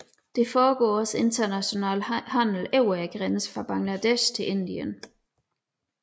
Der foregår også international handel over grænsen fra Bangladesh til Indien